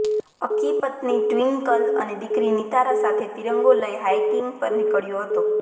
અક્કી પત્ની ટ્વિંકલ અને દીકરી નિતારા સાથે ત્રિરંગો લઈ હાઇકિંગ પર નીકળ્યો હતો